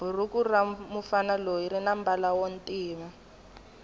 bhuruku ramufana loyi rinambala wontima